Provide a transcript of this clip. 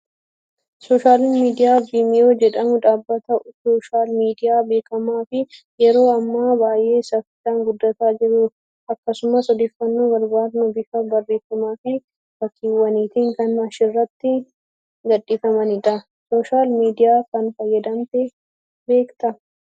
Sooshaal miidiyaan Vimeo jedhamu dhaabbata sooshaal miidiyaa beekamaa fi yeroo ammaa baay'ee saffisaan guddataa jiru akkasumas odeeffannoo barbaadnu bifa barreeffamaa fi fakkiiwwaniitiin kan achirratti gadhiifamanidha. Sooshaal miidiyaa kana fayyadamtee beektaa?